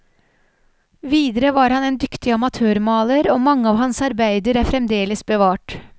Videre var han en dyktig amatørmaler og mange av hans arbeider er fremdeles bevart.